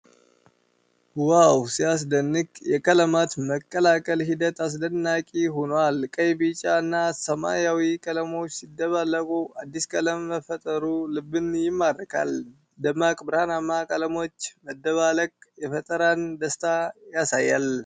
ዋው፣ ሲያስደንቅ! የቀለማት መቀላቀል ሂደት አስደናቂ ሆኗል። ቀይ፣ ቢጫና ሰማያዊ ቀለሞች ሲደባለቁ አዲስ ቀለም መፈጠሩ ልብን ይማርካል። ደማቅ ብርሃናማ ቀለሞች መደባለቅ የፈጠራን ደስታ ያሳያል።